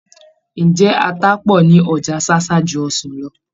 Ǹjẹ́ ata pọ̀ ní Ọjà Ṣáṣá ju ọsàn lọ?